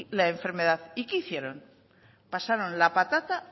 la enfermedad y qué hicieron pasaron la patata